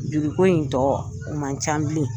juruko in tɔ o man can bilen.